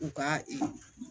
U ka ee